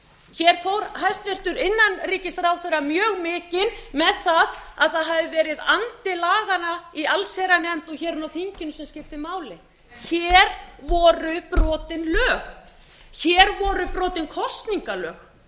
hér fór hæstvirtur innanríkisráðherra mjög mikinn með það að það hafi verið andi laganna í allsherjarnefnd og hér inni á þinginu sem skipti máli hér voru brotin lög hér voru brotin kosningalög